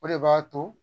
O de b'a to